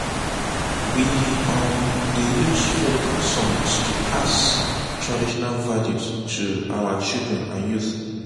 we um dey use folk songs to pass pass traditional values to our children and youth.